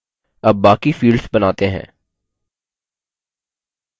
अब बाकी fields बनाते हैं